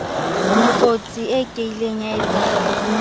lekotsi e kieng ya etshahala